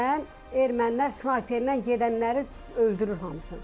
Pəncərədən ermənilər snayperlə gedənləri öldürür hamısını.